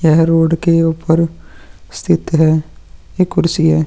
यह रोड के ऊपर स्थित है यह कुर्सी है।